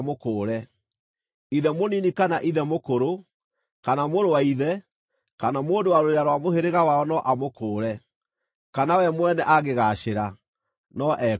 Ithe mũnini kana ithe mũkũrũ, kana mũrũ wa ithe, kana mũndũ wa rũrĩra rwa mũhĩrĩga wao no amũkũũre; kana we mwene angĩgaacĩra, no ekũũre.